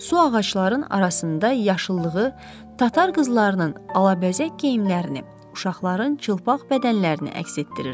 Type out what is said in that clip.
Su ağacların arasında yaşıllığı, tatar qızlarının alabəzək geyimlərini, uşaqların çılpaq bədənlərini əks etdirirdi.